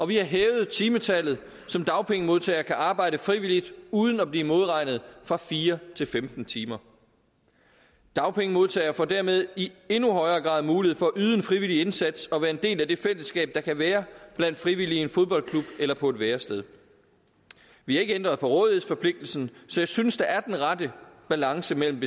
vi har hævet timetallet som dagpengemodtagere kan arbejde frivilligt uden at blive modregnet fra fire til femten timer dagpengemodtagere får dermed i endnu højere grad mulighed for at yde en frivillig indsats og være en del af det fællesskab der kan være blandt frivillige i en fodboldklub eller på et værested vi har ikke ændret på rådighedsforpligtelsen så jeg synes der er den rette balance mellem